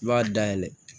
I b'a dayɛlɛ